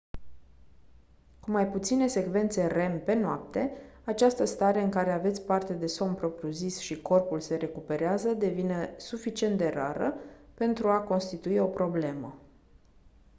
cu mai puține secvențe rem pe noapte această stare în care aveți parte de somn propriu-zis și corpul se recuperează devine suficient de rară pentru a constitui o problemă